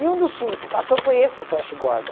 E um dos filmes que passou foi esse do Flash Gordon.